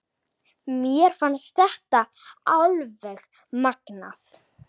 Mér fannst þetta alveg magnað.